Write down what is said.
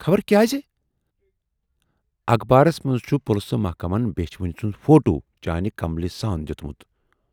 ""خبر کیازِ؟ ""اَخبارس منز چھُ پُلسہٕ محکمن بیچھِ وٕنۍ سُند فوٹو چانہِ کملہِ سان دیُتمُت۔